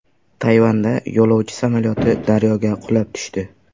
Tayvanda yo‘lovchi samolyoti daryoga qulab tushdi.